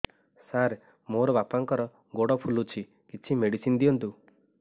ସାର ମୋର ବାପାଙ୍କର ଗୋଡ ଫୁଲୁଛି କିଛି ମେଡିସିନ ଦିଅନ୍ତୁ